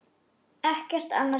Ekkert annað sást.